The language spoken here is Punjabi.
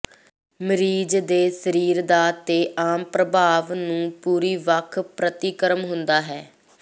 ਮਰੀਜ਼ ਦੇ ਸਰੀਰ ਦਾ ਤੇ ਆਮ ਪ੍ਰਭਾਵ ਨੂੰ ਪੂਰੀ ਵੱਖ ਪ੍ਰਤੀਕਰਮ ਹੁੰਦਾ ਹੈ